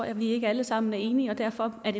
er vi ikke alle sammen enige og derfor er